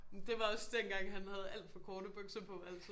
Det var også dengang han havde alt for korte bukser på altid